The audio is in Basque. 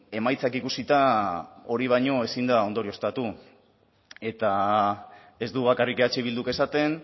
emaitzak ikusita hori baino ezin da ondorioztatu eta ez du bakarrik eh bilduk esaten